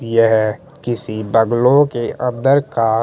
यह किसी बगलों के अंदर का--